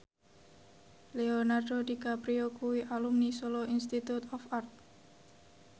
Leonardo DiCaprio kuwi alumni Solo Institute of Art